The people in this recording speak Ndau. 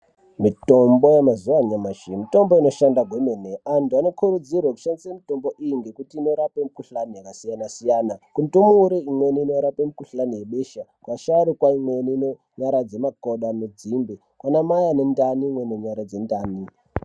Mitombo yemazuwano anyamashi mitombo inoshanda kwemene antu anokurudzirwe kushandise mitombo iyi ngekuti inorape mukhlani yakasiyana siyana kundumure imweni inorapa mikuhlani yebesha kuasharukwa imweni inonyaradze makodo anodzimbe kunamai anentani imweni inonyaradze ntani.